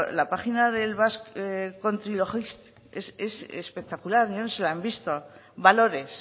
la página del basque country logistics es espectacular no sé si la han visto valores